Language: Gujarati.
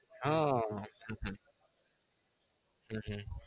હ હ હમ હમ